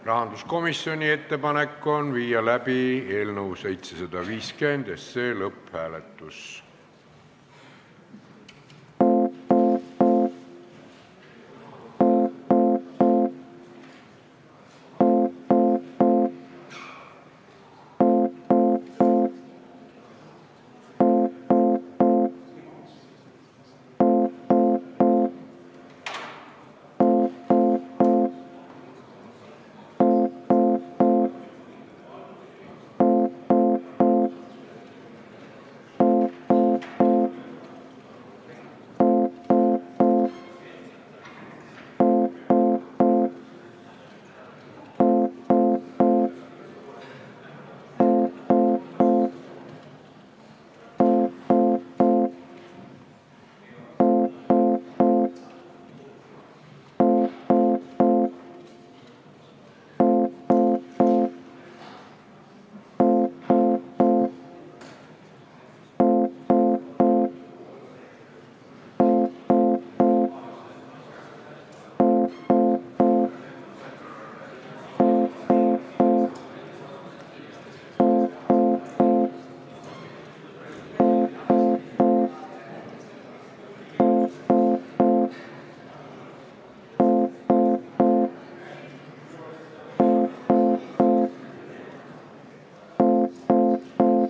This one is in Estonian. Rahanduskomisjoni ettepanek on viia läbi eelnõu 750 lõpphääletus.